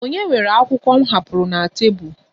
Ònye were akwụkwọ m hapụrụ na tebụl?